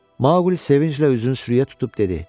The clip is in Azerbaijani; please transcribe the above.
Maqli sevinclə üzünü sürüyə tutub dedi: